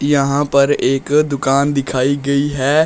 यहां पर एक दुकान दिखाई गई है।